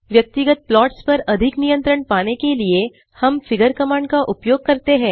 व्यक्तिगत प्लॉट्स पर अधिक नियंत्रण पाने के लिए हम फिगर कमांड का उपयोग करते है